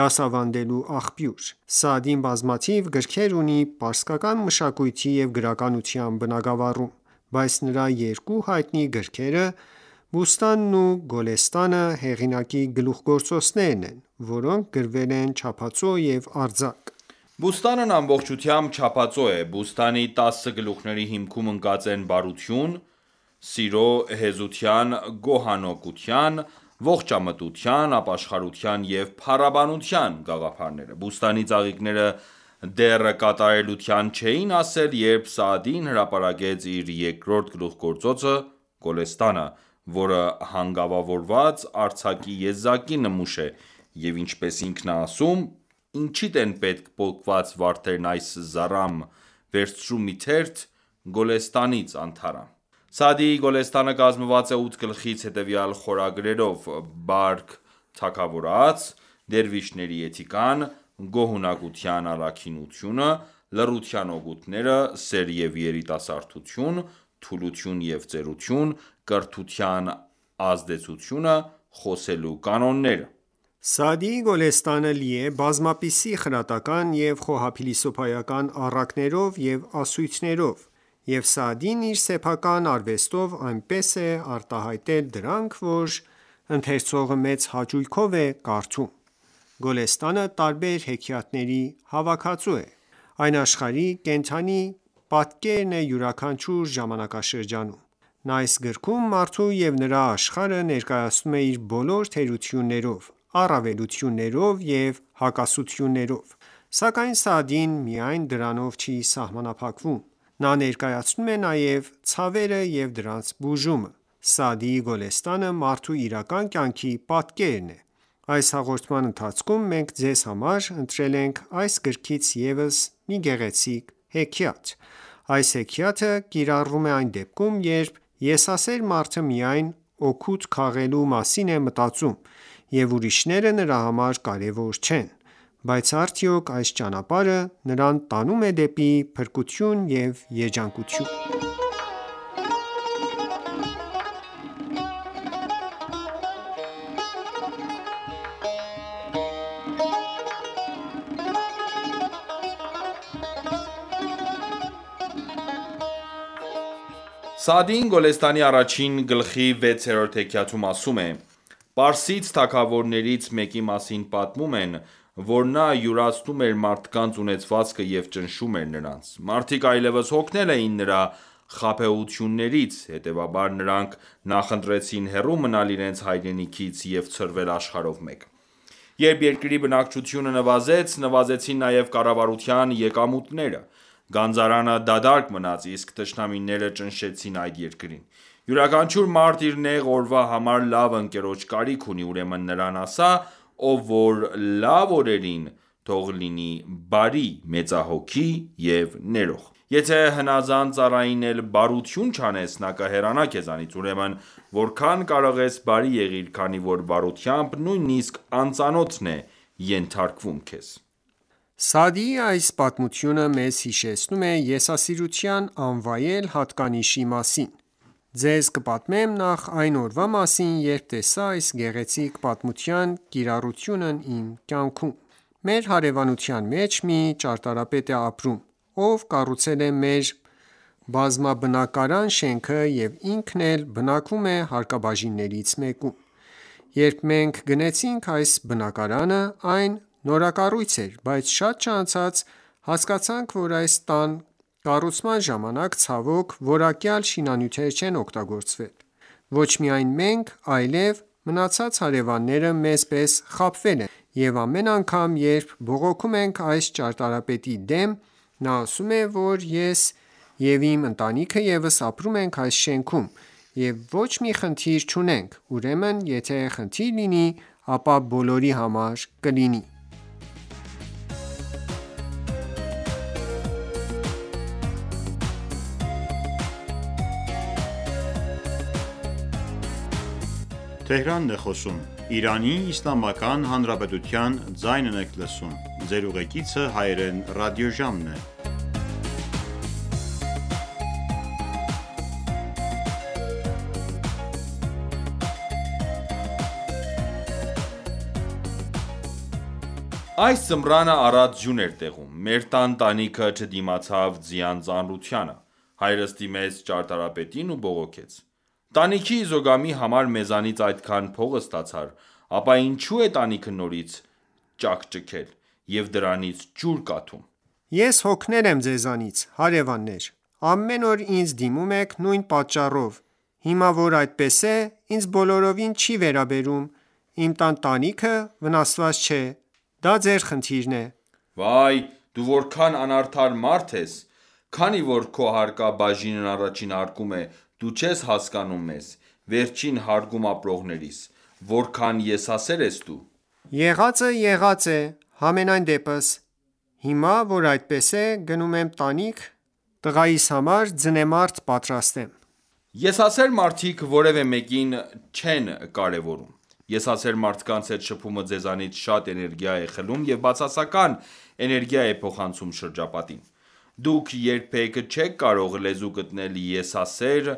դասավանդելու աղբյուր: Սաադին բազմաթիվ գրքեր ունի պարսկական մշակույթի և գրականության բնագավառում, բայց նրա երկու հայտնի գրքերը՝ «Բուստանն» ու «Գոլեստանը», հեղինակի գլուխգործոցներն են, որոնք գրվել են չափածո և արձակ։ «Բուստան»-ն ամբողջությամբ չափածո է: «Բուստանի» տասը գլուխ­ների հիմքում ընկած են բարության, սիրո, հեզության, գոհունակության, ողջամտության, ապաշխարության և փառաբանության գաղափարները։ «Բուստանի» ծաղիկները դեռ կատարելության չէին հասել, երբ Սաադին հրապարակեց իր երկրորդ գլուխգործոցը «Գոլեստանը», որը հանգավորված արձակի եզակի նմուշ է և ինչպես ինքն է ասում. «Ինչիդ են պետք պոկված վարդերն այս զառամ, վերցրու մի թերթ «Գյուլիստանից» անթառամ»։ Սաադիի «Գոլեստանը» կազմված է ութ գլխից՝ հետևյալ խորագրերով «Բարք թագավորաց», «Դերվիշների էթիկան», «Գոհունակության առաքինությունը», «Լռության օգուտները», «Սեր և երիտասարդություն», «Թուլություն և ծերություն», «Կրթության ազդեցությունը», «Խոսելու կանոնները»: Սաադիի «Գոլեստանը» լի է բազմապիսի խրատական և խոհափիլիսոփայական առակներով և ասույթներով, և Սաադին իր սեփական արվեստով այնպես է արտահայտել դրանք, որ ընթերցողը մեծ հաճույքով է կարդում։ «Գոլեստանը» տարբեր հեքիաթների հավաքածու է: Այն աշխարհի կենդանի պատկերն է յուրաքանչյուր ժամանակաշրջանում: Նա այս գրքում մարդու և նրա աշխարհը ներկայացնում է իր բոլոր թերություններով, առավելություններով և հակասություններով: Սակայն Սաադին միայն դրանով չի սահմանափակվում: Նա ներկայացնում է նաև ցավերը և դրանց բուժումը: Սաադիի «Գոլեստանը» մարդու իրական կյանքի պատկերն է: Այս հաղորդման ընթացքում մենք ձեզ համար ընտրել ենք այս գրքից ևս մեկ գեղեցիկ հեքիաթ։ Այս հեքիաթը կիրառվում է այն դեպքում, երբ եսասեր մարդը միայն օգուտ քաղելու մասին է մտածում, և ուրիշները նրա համար կարևոր չեն, բայց արդյոք այս ճանապարհը նրան տանո՞ւմ է դեպի փրկություն և երջանկություն: Սաադին «Գոլեստանի» առաջին գլխի 6-րդ հեքիաթում ասում է. «Պարսից թագավորներից մեկի մասին պատմում են, որ նա յուրացնում էր մարդկանց ունեցվածքը և ճնշում էր նրանց: Մարդիկ այլևս հոգնել էին նրա խաբեություններից, հետևաբար նրանք նախընտրեցին հեռու մնալ իրենց հայրենիքից և ցրվել աշխարհով մեկ: Երբ երկրի բնակչությունը նվազեց, նվազեցին նաև կառավարության եկամուտները։ Գանձարանը դատարկ մնաց, իսկ թշնամիները ճնշեցին այդ երկրին։ Յուրաքանչյուր մարդ իր նեղ օրվա համար լավ ընկերոջ կարիք ունի, ուրեմն նրան ասա, որ լավ օրերին թող լինի բարի, մեծահոգի և ներող: Եթե ​​հնազանդ ծառային էլ բարություն չանես, նա կհեռանա քեզանից։ Ուրեմն որքան կարող ես բարի եղիր, քանի որ բարությամբ, նույնիսկ անծանոթն է ենթարկվում Պատմող. Սաադիի այս պատմությունը մեզ հիշեցնում է եսասիրության անվայել հատկանիշի մասին: Ձեզ կպատմեմ նաև այն օրվա մասին, երբ տեսա այս գեղեցիկ պատմության կիրառությունն իմ կյանքում։ Մեր հարևանության մեջ մի ճարտարապետ է ապրում, ով կառուցել է մեր բազմաբնակարան շենքը և ինքն էլ բնակվում է հարկաբաժիններից մեկում։ Երբ մենք գնեցինք այս բնակարանը, այն նորակառույց էր, բայց շատ չանցած հասկացանք, որ այս տան կառուցման ժամանակ ցավոք որակյալ շինանյութեր չեն օգտագործվել։ Ոչ միայն մենք, այլև մնացած հարևանները մեզ պես խաբվել են, և ամեն անգամ, երբ բողոքում ենք այս ճարտարապետի դեմ, նա ասում է, որ ես և իմ ընտանիքը ևս ապրում ենք այս շենքում, և ոչ մի խնդիր չունենք, ուրեմն եթե խնդիր լինի, ապա բոլորի համար կլինի: Պատմող - Այս ձմռանը առատ ձյուն էր տեղում: Մեր տան տանիքը չդիմացավ ձյան ծանրությանը: Հայրս դիմեց ճարտարապետին ու բողոքեց: Տանիքի Իզոգամի համար մեզանից այդքան փող ստացար: Ապա ինչո՞ւ է տանիքը նորից ճաքճքել, և դրանից ջուր կաթում։ Ես հոգնել եմ ձեզանից, հարևաններ: Ամեն օր ինձ դիմում եք նույն պատճառով։ Հիմա, որ այդպես է, ինձ բոլորովին չի վերաբերում։ Իմ տան տանիքը վնասված չէ ։ Դա ձեր խնդիրն է: Վայ, դու որքան անարդար մարդ ես։ Քանի որ քո հարկաբաժինն առաջին հարկում է, դու չես հասկանում մեզ՝ վերջին հարկում ապրողներիս: Որքան եսասեր ես դու: Եղածը, եղած է։ Համենայնդեպս, հիմա, որ այդպես է, գնում եմ տանիք տղայիս համար ձնեմարդ պատրաստեմ։ Հաղորդավար-Եսասեր մարդիկ որևէ մեկին չեն կարևորում: Եսասեր մարդկանց հետ շփումը ձեզանից շատ էներգիա է խլում և բացասական էներգիա է փոխանցում շրջապատին։ Դուք երբեք չեք կարող լեզու գտնել եսասեր